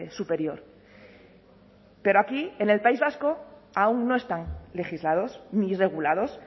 superior pero aquí en el país vasco aun no están legislados ni regulados